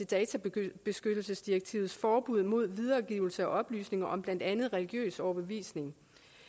databeskyttelsesdirektivets forbud mod videregivelse af oplysninger om blandt andet religiøs overbevisning